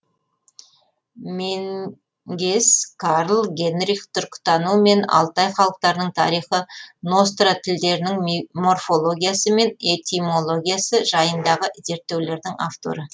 менгес карл генрих түркітану мен алтай халықтарының тарихы ностра тілдерінің морфологиясы мен этимологиясы жайындағы зерттеулердің авторы